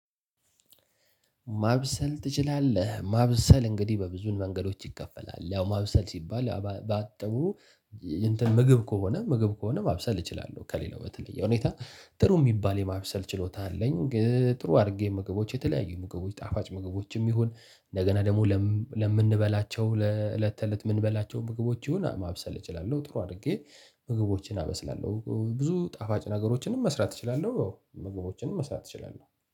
ማብሰል ትችላለህ ማብሰል እንግዲህ በብዙን መንገዶች ይከፈላል ያው ማብሰል ሲባል ባጠቡ እንትን ምግብ ከሆነ ምግብ ከሆነ ማብሰል እችላለሁ ከሌላው በተለየ ሁኔታ ጥሩ የሚባል የማብሰል ችሎታ አለኝ። ጥሩ አድርጌ ምግቦች የተለያዩ ምግቦች ጣፋጭ ምግቦችም ይሁን እንደገና ደግሞ ለምንበላቸው ለእለት ተእለት የምንበላቸው ምግቦች ይሁን ማብሰል እችላለሁ ጥሩ አድርጌ ምግቦችን አበስላለሁ ብዙ ጣፋጭ ነገሮችንም መስራት እችላለሁ ያው ምግቦችንም መስራት እችላለሁ